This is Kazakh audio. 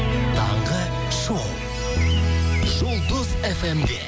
таңғы шоу жұлдыз фм де